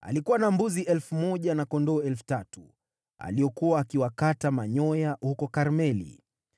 Alikuwa na mbuzi elfu moja na kondoo elfu tatu, aliokuwa akiwakata manyoya huko Karmeli.